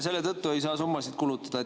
Selle tõttu nagu ei saa summasid kulutada.